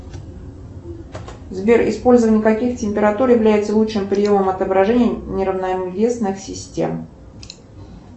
сбер использование каких температур является лучшим приемом отображения неравновесных систем